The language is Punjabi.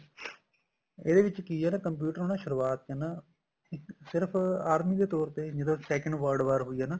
ਇਹਦੇ ਵਿੱਚ ਕੀ ਆ ਨਾ computer ਸ਼ੁਰਆਤ ਚ ਨਾ ਸਿਰਫ ਆਰਮੀ ਦੇ ਤੋਰ ਤੇ ਜਦੋਂ second world ਵਾਰ ਹੋਈ ਏ ਨਾ